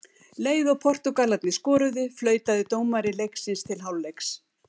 Leið og Portúgalarnir skoruðu, flautaði dómari leiksins til hálfleiks.